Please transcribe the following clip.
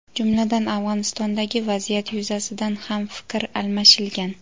jumladan Afg‘onistondagi vaziyat yuzasidan ham fikr almashilgan.